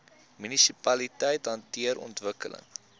munisipaliteite hanteer ontwikkeling